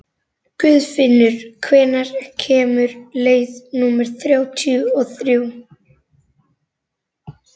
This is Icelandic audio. Guðfinnur, hvenær kemur leið númer þrjátíu og þrjú?